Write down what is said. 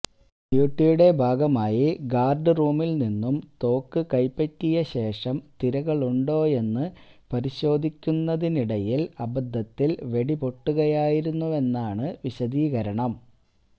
ഡ്യൂട്ടിയുടെ ഭാഗമായി ഗാര്ഡ് റൂമില്നിന്നും തോക്ക് കൈപ്പറ്റിയശേഷം തിരകളുണ്ടോയെന്ന് പരിശോധിക്കുന്നതിനിടയില് അബദ്ധത്തില് വെട്ടിപൊട്ടുകയായിരുന്നുവെന്നാണ് വിശദീകരണം